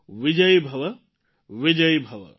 વિજયી ભવ વિજયી ભવ